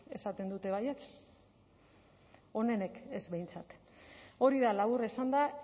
esaten dute baietz onenek ez behintzat hori da labur esanda